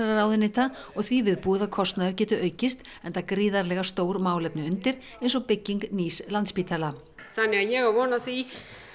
ráðuneyta og því viðbúið að kostnaður geti aukist enda gríðarlega stór málefni undir eins og bygging nýs Landspítala þannig að ég á von á því